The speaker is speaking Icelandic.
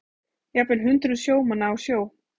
Jafnvel hundruð sjómanna á sjó